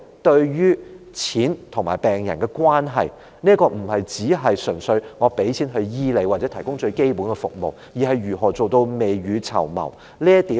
對於金錢與病人的關係，這不單是政府純粹提供金錢來醫治病人，或向市民提供最基本的醫療服務，而是如何做到未雨綢繆。